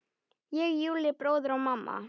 Ég, Júlli bróðir og mamma.